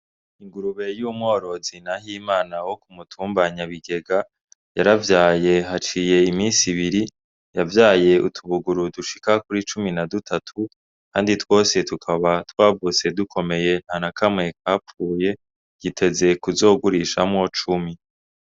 Ingurube y'umworozi Nahimana wokumutumba Nyabigega yaravyaye haciye iminsi ibiri yavyaye utubuguru dushika kuri cumi na dutatu kandi twose tukaba twavutse dukomeye ntanakamwe kapfuye yiteze ku zogurishamwo cumi.